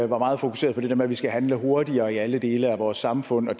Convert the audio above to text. var meget fokuseret på det der med at vi skal handle hurtigere i alle dele af vores samfund og